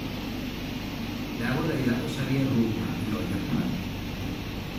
ndagũthaĩtha ũcarĩe rhumba ĩno japanĩ